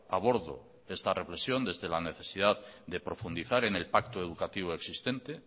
abordo esta reflexión desde la necesidad de profundizar en el pacto educativo existente